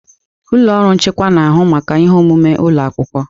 Ụlọ ọrụ nchịkwa na-ahụ maka ihe omume ụlọ akwụkwọ.